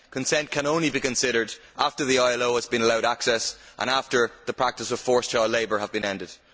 Consent can only be considered after the ILO has been allowed access and after the practice of forced child labour has been ended.